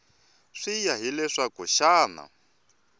swi ya hi leswaku xana